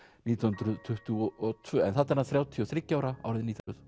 nítján hundruð tuttugu og tvö en þarna er hann þrjátíu og þriggja ára árið nítján